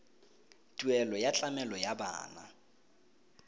tuelo ya tlamelo ya bana